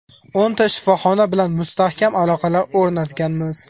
O‘nta shifoxona bilan mustahkam aloqalar o‘rnatganmiz.